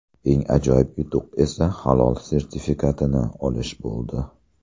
Eng ajoyib yutuq esa Halol sertifikatini olish bo‘ldi.